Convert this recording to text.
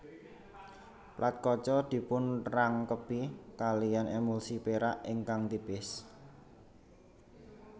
Plat kaca dipunrangkepi kaliyan emulsi perak ingkang tipis